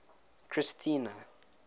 christiana